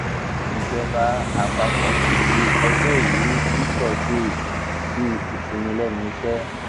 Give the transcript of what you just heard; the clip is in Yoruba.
ìjọba àpapọ kéde ọjọrùú wíṣọdẹẹ bíi ìsinmi lẹnu iṣẹ